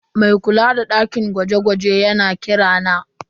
Mai kula da dakin gwaje-gwajen yana kira na.